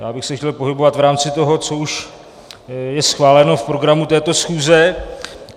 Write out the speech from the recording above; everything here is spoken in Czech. Já bych se chtěl pohybovat v rámci toho, co už je schváleno v programu této schůze.